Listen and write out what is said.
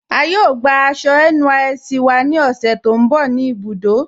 A yóò gbà àṣọ NYSC wà ní òṣè tó nbọ̀ ní ibùdó.